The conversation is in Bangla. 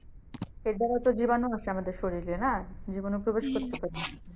জীবানু আসে আমাদের শরীরে না জীবানু প্রবেশ করতে পারে।